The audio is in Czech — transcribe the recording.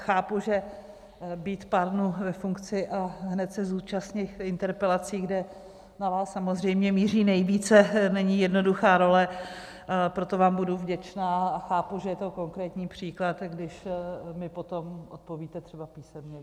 Chápu, že být pár dnů ve funkci a hned se zúčastnit interpelací, kde na vás samozřejmě míří nejvíce, není jednoduchá role, proto vám budu vděčná, a chápu, že je to konkrétní příklad, když mi potom odpovíte třeba písemně.